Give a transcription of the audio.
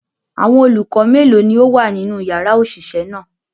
Awọn olukọ melo ni o wa ninu yara oṣiṣẹ naa?